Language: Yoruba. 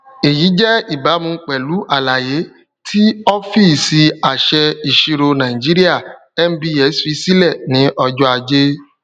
èyí jẹ ìbámu pẹlú àlàyé tí ọfíìsìàṣẹ ìṣirò nàìjíríà nbs fi sílẹ ní ọjọajé